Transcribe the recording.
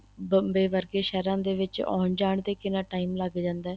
ਬੰਬੇ ਵਰਗੇ ਸ਼ਹਿਰਾਂ ਦੇ ਵਿੱਚ ਆਉਣ ਜਾਣ ਤੇ ਵਿੱਚ ਕਿੰਨਾ time ਲੱਗ ਜਾਂਦਾ ਏ